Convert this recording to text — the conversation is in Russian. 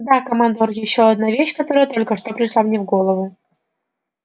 да командор ещё одна вещь которая только что пришла мне в голову